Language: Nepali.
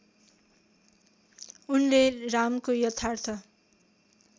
उनले रामको यथार्थ